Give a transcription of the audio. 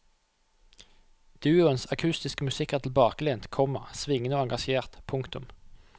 Duoens akustiske musikk er tilbakelent, komma svingende og engasjert. punktum